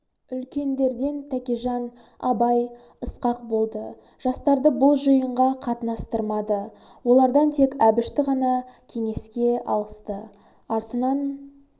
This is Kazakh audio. үлкендерден тәкежан абай ысқақ болды жастарды бұл жиынға қатынастырмады олардан тек әбішті ғана кеңеске алысты артынан